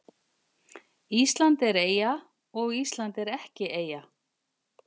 Ísland er eyja og Ísland er ekki eyja